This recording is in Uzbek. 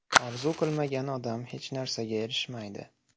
Orzu qilmagan odam hech narsaga erishmaydi.